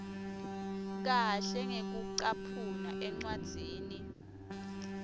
kahle ngekucaphuna encwadzini